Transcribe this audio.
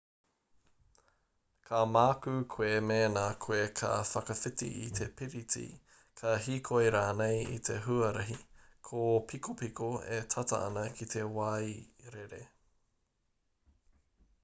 ka mākū koe mēna koe ka whakawhiti i te piriti ka hīkoi rānei i te huarahi kōpikopiko e tata ana ki te wairere